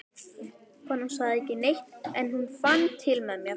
Konan sagði ekki neitt, en hún fann til með mér.